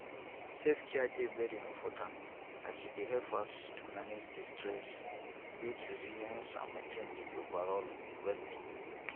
selfcare dey very important as e dey help us to manage di stress build resilience and maintain di overall wellbeing